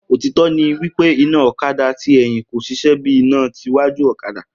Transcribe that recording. otitọ ni wípé iná ọ̀kadà tí ẹ̀yìn kò ṣiṣẹ́ bíí iná tí wájú ọ̀kadà